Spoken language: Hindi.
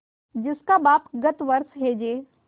जिसका बाप गत वर्ष हैजे